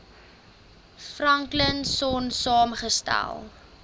franklin sonn saamgestel